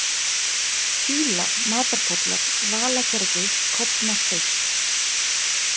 Fýla, Matarpollar, Valagerði, Kofnasteinn